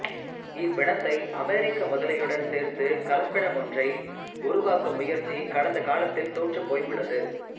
இவ்வினத்தை அமெரிக்க முதலையுடன் சேர்த்துக் கலப்பினமொன்றை உருவாக்கும் முயற்சி கடந்த காலத்தில் தோற்றுப்போயுள்ளது